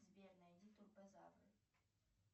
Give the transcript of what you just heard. сбер найди турбозавры